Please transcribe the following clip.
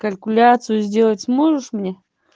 калькуляцию сделать сможешь мне